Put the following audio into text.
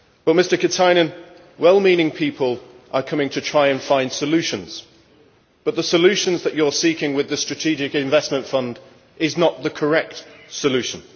Mr Katainen, well meaning people are coming to try and find solutions, but the solution you are seeking with the Strategic Investment Fund is not the correct solution.